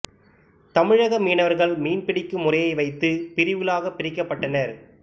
தமிழக மீனவர்கள் மீன் பிடிக்கும் முறையை வைத்து பிரிவுகளாக பிரிக்கப்பட்டனர்